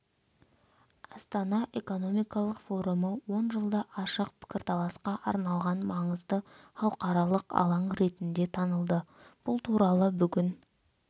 астана экономикалық форумы он жылда ашық пікірталасқа арналған маңызды халықаралық алаң ретінде танылды бұл туралы бүгін